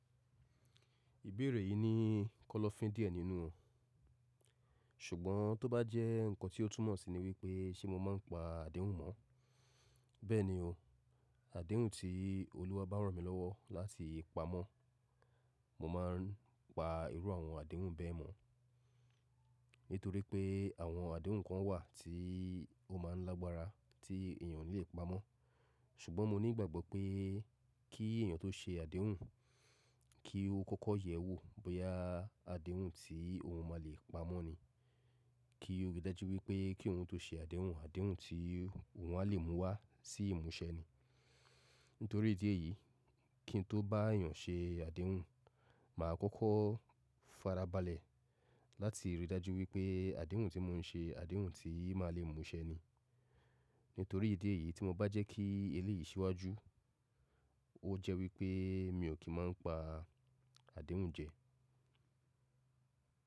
Ìbéèrè yìí ní kọ́lọ́fín díẹ̀ nínú òun, ṣùgbọ́n tó bá jẹ́ nǹkan tí ó túmọ̀ síi ní wípé ṣe mo máa ń pa àdéhùn mọ́. Bẹ́ẹ̀ni o, àdéhùn tí Olúwa bá rán mi lọ́wọ́ láti pamọ́, mo máa ń pa irú àwọn àdéhùn bẹ́ẹ̀ mọ́. Nítorí pé àwọn àdéhùn kan wà tí ó máa ń lágbára tí eèyàn o lè pa mọ́. Ṣùgbọ́n mo ní ìgbàgbọ́ pé kí èyàn tó ṣe àdéhùn, kí ó kọ́kọ́ yẹ wò bóyá àdéhùn tí òun máa le pa mọ́ ni. Kí ó rí i dájú wípé kí òun tó ṣe àdéhùn, àdéhùn tí òun a lè mú wá sí ìmúṣẹ ni. Nítorí ìdí èyí, kí n tó bá èyàn ṣe àdéhùn, màá kọ́kọ́ farabalẹ̀ láti rí i dájú wípé àdéhùn tí mò ń ṣe àdéhùn tí màá le mú ṣẹ ni. Nítorí ìdí èyí tí mo bá jẹ́ kí èléyìí ṣíwájú, ó jẹ́ wípé mi ò kí ń má pa àdéhùn jẹ.